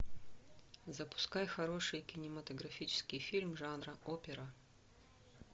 запускай хороший кинематографический фильм жанра опера